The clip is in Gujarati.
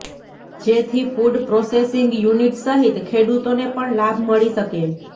જેથી ફૂડ પ્રોસેસિંગ યુનિટ સહિત ખેડૂતોને પણ લાભ મળી શકે